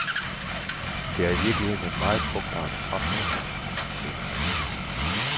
Det er i virkeligheden et meget frugtbart frafald, mener han.